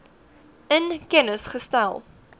in kennis gestel